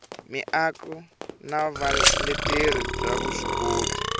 miako na vuleteri bya vuswikoti